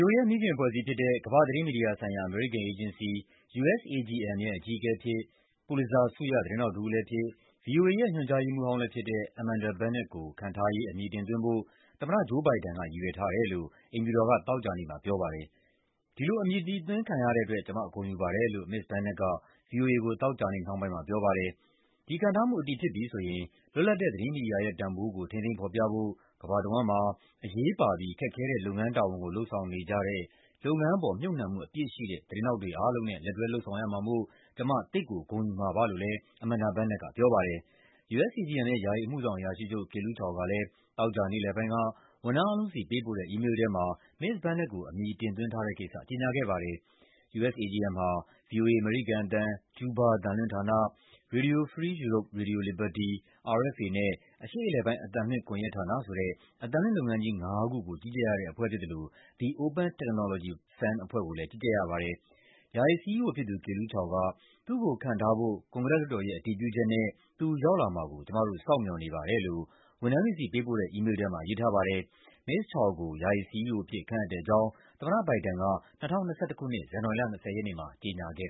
ိုအေရဲ့ မိခင်အဖွဲ့အစည်းဖြစ်တဲ့ ကမ္ဘာ့သတင်းမီဒီယာဆိုင်ရာ အမေရိကန်အေဂျင်စီ (USAGM) ရဲ့ အကြီးအကဲအဖြစ် ပူလစ်ဇာဆုရ သတင်းထောက်တဦးလည်းဖြစ်၊ ဗွီအိုအေရဲ့ ညွှန်ကြားရေးမှူးဟောင်းလည်းဖြစ်တဲ့ Amanda Bennett ကို ခန့်ထားရေး အမည်တင်သွင်းဖို့ သမ္မတ Joe Biden က ရည်ရွယ်ထားတယ်လို့ အိမ်ဖြူတော်က သောကြာနေ့မှာ ပြောပါတယ်။ "ဒီလို အမည်တင်သွင်းခံရတဲ့အတွက် ကျမ ဂုဏ်ယူပါတယ်" လို့ မစ္စ Bennett က ဗွီအိုအေကို သောကြာနေ့နှောင်းပိုင်းမှာ ပြောပါတယ်။ "ဒီခန့်ထားမှု အတည်ဖြစ်ပြီဆိုရင် လွတ်လပ်တဲ့ သတင်းမီဒီယာရဲ့တန်ဖိုးကို ထိန်းသိမ်း ဖော်ပြဖို့ ကမ္ဘာတဝန်းမှာ အရေးပါပြီး ခက်ခဲတဲ့ လုပ်ငန်းတာဝန်ကို လုပ်ဆောင်နေကြတဲ့ လုပ်ငန်းအပေါ် မြှုပ်နှံမှုအပြည့်ရှိတဲ့ သတင်းထောက်တွေအားလုံးနဲ့ လက်တွဲလုပ်ဆောင်ရမှာမို့ ကျမ သိပ်ကို ဂုဏ်ယူမှာပါ" လို့လည်း Amanda Bennett က ပြောပါတယ်။ USAGM ရဲ့ ယာယီ အမှုဆောင်အရာရှိချုပ် Kelu Chao ကလည်း သောကြာနေ့လယ်ပိုင်းက ဝန်ထမ်းအားလုံးဆီ ပေးပို့တဲ့ အီးမေးလ်ထဲမှာ မစ္စ Bennett ကို အမည်တင်သွင်းထားတဲ့ကိစ္စ ကြေညာခဲ့ပါတယ်။ USAGM ဟာ ဗွီအိုအေ အမေရိကန်အသံ၊ ကျူးဘားအသံလွှွင့်ဌာန၊ Radio Free Europe/Radio Liberty၊ RFA နဲ့ အရှေ့အလယ်ပိုင်း အသံလွှင့်ကွန်ရက်ဌာနဆိုတဲ့ အသံလွှင့်လုပ်ငန်းကြီးငါးခုကို ကြီးကြပ်ရတဲ့အဖွဲ့ ဖြစ်သလို The Open Technology Fund အဖွဲ့ကိုလည်း ကြီးကြပ်ရပါတယ်။ ယာယီ CEO ဖြစ်သူ Kelu Chao က "သူ့ကိုခန့်ထားဖို့ ကွန်ဂရက်လွှတ်တော်ရဲ့ အတည်ပြုချက်နဲ့ သူရောက်လာမှာကို ကျမတို့ စောင့်မျှော်နေပါတယ်" လို့ ဝန်ထမ်းတွေဆီ ပေးပို့တဲ့ အီးမေးလ်ထဲမှာ ရေးထားပါတယ်။ မစ္စ Chao ကို ယာယီ CEO အဖြစ် ခန့်အပ်တဲ့အကြောင်း သမ္မတ Biden က ၂၀၂၁ ခုနှစ်၊ ဇန်နဝါရီလ ၂၀ ရက်နေ့မှာ ကြေညာခဲ့